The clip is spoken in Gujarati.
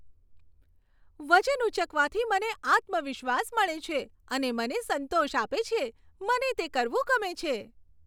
વજન ઊંચકવાથી મને આત્મવિશ્વાસ મળે છે અને મને સંતોષ આપે છે. મને તે કરવું ગમે છે.